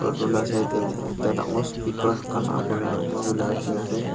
etu lah side teh ekta dangor speaker kala para lamba banai ke na ase.